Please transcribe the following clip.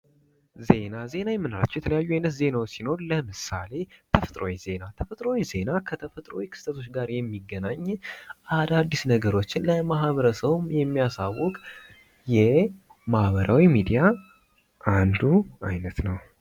ዜና ዜና የምንላቸው የተለያዩ አይነት ዜናወች ሲኖሩ ለምሳሌ ተፈጥሯዊ ዜና ተፈጥሯዊ ዜና ከተፈጥሯዊ ክስተቶች ጋር የሚገናኝ አዳድስ ነገሮችን ለማህበረሰቡ የሚያሳውቅ የማህበራዊ ሚዲያ አንዱ አይነት ነው።